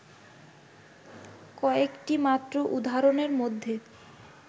কয়েকটি মাত্র উদাহরণের মধ্যে